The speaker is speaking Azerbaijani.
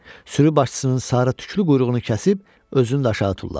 Sürü başçısının sarı tüklü quyruğunu kəsib özünü də aşağı tulladı.